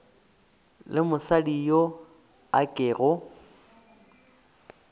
le mosadi yo a kego